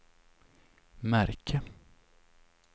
märke